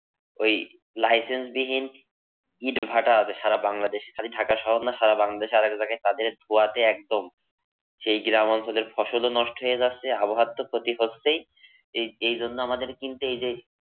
ঐ licence বিহীন ইট ভাটা আছে সারা বাংলাদেশে। খালি ঢাকা শহর না সারা বাংলাদেশে। আরেক জায়গায় তাদের ধোয়াতে একদম সেই গ্রাম অঞ্চলের ফসলও নষ্ট হয়ে যাচ্ছে। আবহাওয়ার তো ক্ষতি হচ্ছেই । এই যে জন্য আমাদের কিন্তু এই যে,